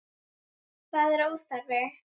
Það var óþarfi.